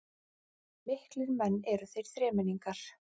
Miklir menn eru þeir þremenningar